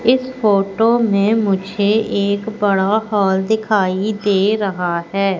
इस फोटो में मुझे एक बड़ा हॉल दिखाई दे रहा है।